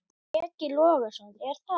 Breki Logason: Er það ekki?